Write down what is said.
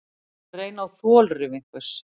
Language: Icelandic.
Að reyna á þolrif einhvers